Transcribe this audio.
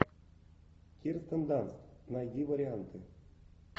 кирстен данст найди варианты